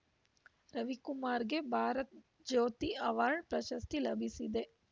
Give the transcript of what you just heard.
ರವಿಕುಮಾರ್‌ಗೆ Bharat Jyoti award ಪ್ರಶಸ್ತಿ ಲಭಿಸಿದೆ